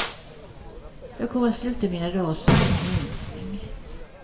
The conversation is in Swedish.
Jag kommer att sluta mina dar som en ensling.